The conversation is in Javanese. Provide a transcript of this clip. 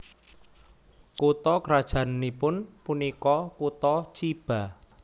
Kutha krajannipun punika kutha Chiba